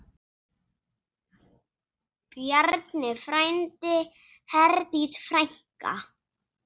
Bjarni frændi, Herdís frænka.